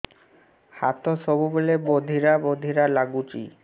ହାତ ସବୁବେଳେ ବଧିରା ବଧିରା ଲାଗୁଚି